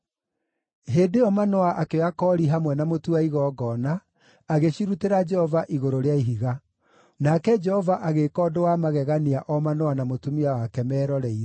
Hĩndĩ ĩyo Manoa akĩoya koori hamwe na mũtu wa igongona, agĩcirutĩra Jehova igũrũ rĩa ihiga. Nake Jehova agĩĩka ũndũ wa magegania o Manoa na mũtumia wake meroreire: